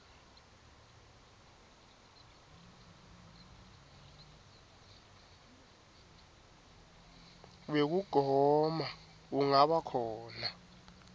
wekugoma ungaba khona